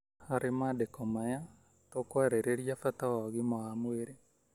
harĩ maandiko maya, tũkwarĩrĩria bata wa ũgima wa mwĩrĩ,